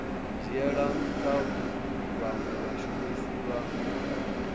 dzhiela ntha vhanwe vhashumisi vha